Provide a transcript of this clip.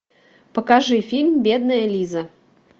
покажи фильм бедная лиза